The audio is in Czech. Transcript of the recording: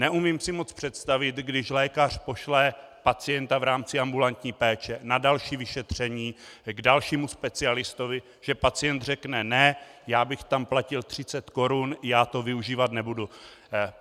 Neumím si moc představit, když lékař pošle pacienta v rámci ambulantní péče na další vyšetření k dalšímu specialistovi, že pacient řekne ne, já bych tam platil 30 korun, já to využívat nebudu.